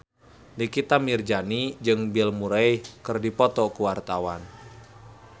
Nikita Mirzani jeung Bill Murray keur dipoto ku wartawan